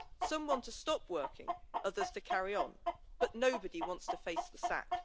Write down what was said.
Some want to stop working, others to carry on, but nobody wants to face the sack.